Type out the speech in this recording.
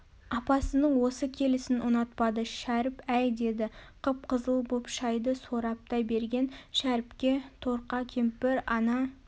апасының осы келісін ұнатпады шәріп әй деді қып-қызыл боп шайды сораптай берген шәріпке торқа кемпір ана